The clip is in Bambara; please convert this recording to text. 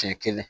Siɲɛ kelen